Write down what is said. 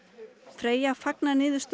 Freyja fagnar niðurstöðu